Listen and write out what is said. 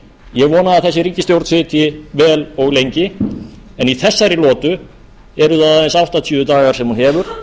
ég vona að þessi ríkisstjórn sitji vel og lengi en í þessari lotu eru það aðeins áttatíu dagar sem hún hefur